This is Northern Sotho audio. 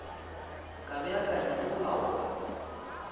ka beakanya le go laola